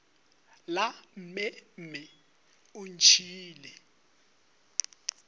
la mme mme o ntšhiile